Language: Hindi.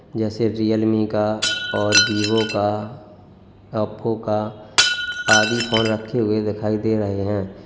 जैसे रियलमी का और विवो का ओप्पो आदि फोन रखे हुए दिखाई दे रहे है।